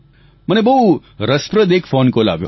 મને બહુ રસપ્રદ એક ફોન કોલ આવ્યો